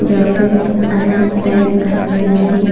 Jacket आणि pant घातलेला आहे.